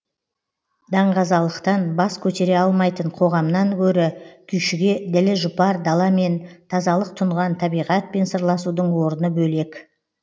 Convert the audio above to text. даңғазалықтан бас көтере алмайтын қоғамнан гөрі күйшіге ділі жұпар даламен тазалық тұнған табиғатпен сырласудың орны бөлек